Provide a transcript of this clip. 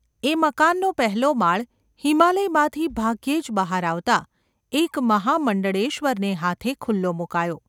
એ મકાનનો પહેલો માળ હિમાલયમાંથી ભાગ્યે જ બહાર આવતાં એક મહામંડળેશ્વરને હાથે ખુલ્લો મુકાયો.